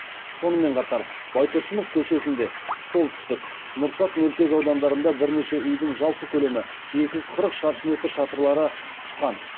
сонымен қатар байтұрсынов көшесінде солтүстік нұрсат мөлтекаудандарында бірнеше үйдің жалпы көлемі екі жүз қырық шаршы метр шатырлары ұшқан